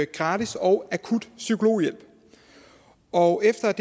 gratis og akut psykologhjælp og efter at